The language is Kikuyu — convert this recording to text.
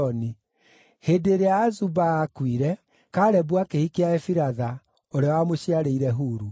Hĩndĩ ĩrĩa Azuba aakuire, Kalebu akĩhikia Efiratha, ũrĩa wamũciarĩire Huru.